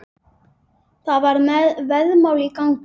Það var veðmál í gangi.